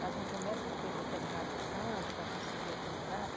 Faz uma promessa para aquele determinado santo para conseguir aquela graça.